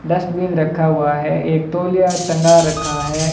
Dustbin रखा हुआ है एक तोलिया टंगा रखा है।